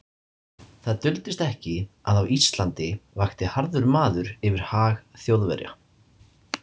Það duldist ekki, að á Íslandi vakti harður maður yfir hag Þjóðverja.